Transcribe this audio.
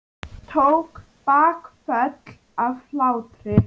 Tók bakföll af hlátri.